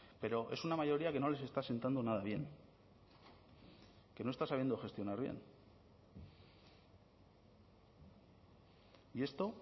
pero es una mayoría que no les está asentando nada bien que no está sabiendo gestionar bien y esto